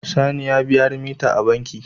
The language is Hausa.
Sani ya biya remita a banki